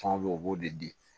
Fan be o b'o de di